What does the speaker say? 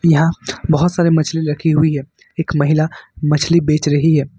यहां बहुत सारी मछली रखी हुई है एक महिला मछली बेच रही है।